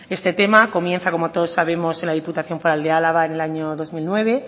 este tema comienza como todos sabemos en la diputación foral de álava en el año dos mil nueve